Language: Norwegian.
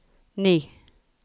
ni